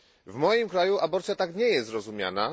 W moim kraju aborcja tak nie jest rozumiana.